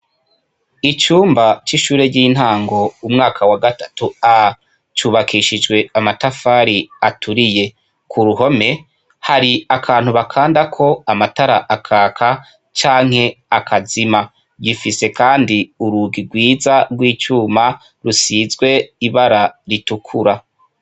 Icumba c'ishure ry'intango, umwaka wa gatatu A cubakishijwe amatafari aturiye. Ku ruhome, hari akantu bakandako amatara akaka canke akazima. Gifise kandi urugi rwiza rw'icuma rusizwe ibara ritukura.